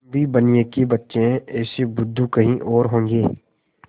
हम भी बनिये के बच्चे हैं ऐसे बुद्धू कहीं और होंगे